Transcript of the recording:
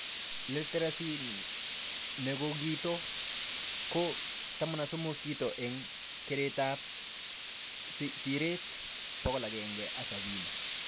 Literacy nekokito ko 13 kito eng keretab seret 170